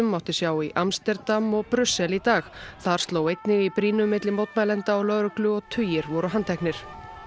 mátti sjá í Amsterdam og Brussel í dag þar sló einnig í brýnu milli mótmælenda og lögreglu og tugir voru handteknir